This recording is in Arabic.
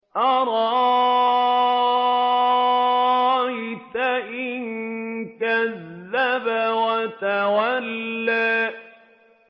أَرَأَيْتَ إِن كَذَّبَ وَتَوَلَّىٰ